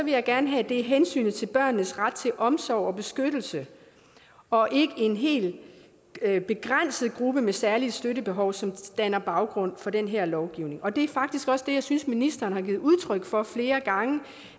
jeg gerne have at det er hensynet til børnenes ret til omsorg og beskyttelse og ikke en hel begrænset gruppe med særlig støttebehov som danner baggrund for den her lovgivning og det er faktisk også det jeg synes ministeren har givet udtryk for flere gange